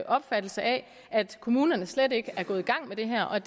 opfattelse af at kommunerne slet ikke er gået i gang med det her og